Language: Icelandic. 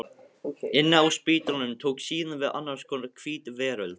Inni á spítalanum tók síðan við annars konar hvít veröld.